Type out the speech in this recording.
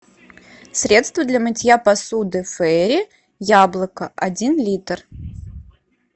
средство для мытья посуды фейри яблоко один литр